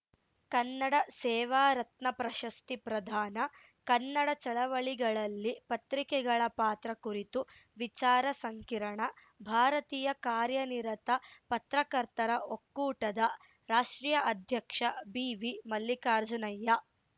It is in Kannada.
ಕನ್ನಡ ಸೇವಾ ರತ್ನ ಪ್ರಶಸ್ತಿ ಪ್ರದಾನ ಕನ್ನಡ ಚಳವಳಿಗಳಲ್ಲಿ ಪತ್ರಿಕೆಗಳ ಪಾತ್ರ ಕುರಿತು ವಿಚಾರ ಸಂಕಿರಣ ಭಾರತೀಯ ಕಾರ್ಯನಿರತ ಪತ್ರಕರ್ತರ ಒಕ್ಕೂಟದ ರಾಷ್ಟ್ರೀಯ ಅಧ್ಯಕ್ಷ ಬಿವಿಮಲ್ಲಿಕಾರ್ಜುನಯ್ಯ